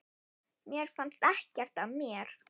Mér fannst ekkert að mér.